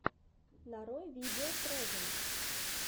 нарой видео прэзэнт